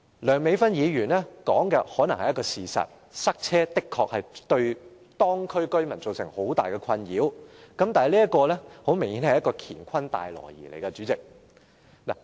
梁美芬議員所說的可能是事實，塞車的確會對當區居民造成很大困擾，但明顯地，代理主席，這是一個"乾坤大挪移"。